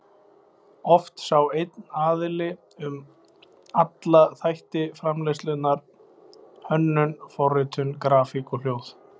Oft sá einn aðili um alla þætti framleiðslunnar: Hönnun, forritun, grafík og hljóð.